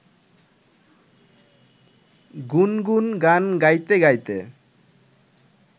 গুনগুন গান গাইতে গাইতে